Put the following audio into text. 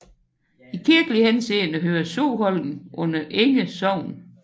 I kirkelig henseende hører Soholm under Enge Sogn